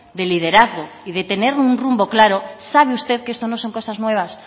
de liderazgo y de tener un rumbo claro sabe usted que esto no son cosas nuevas